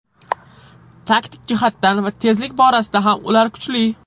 Taktik jihatdan va tezlik borasida ham ular kuchli.